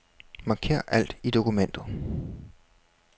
Marker alt i dokumentet.